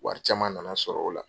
Wari caman na na sɔrɔ o la.